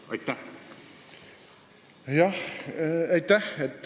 Aitäh!